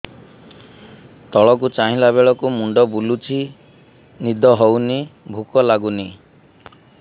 ତଳକୁ ଚାହିଁଲା ବେଳକୁ ମୁଣ୍ଡ ବୁଲୁଚି ନିଦ ହଉନି ଭୁକ ଲାଗୁନି